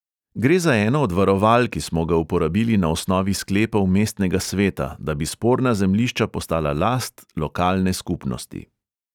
"Gre za eno od varoval, ki smo ga uporabili na osnovi sklepov mestnega sveta, da bi sporna zemljišča postala last lokalne skupnosti."